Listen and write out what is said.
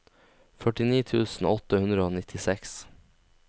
førtini tusen åtte hundre og nittiseks